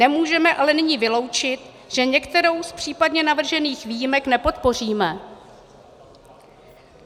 Nemůžeme ale nyní vyloučit, že některou z případně navržených výjimek nepodpoříme.